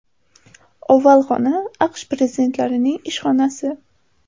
Oval xona AQSh prezidentlarining ish xonasi.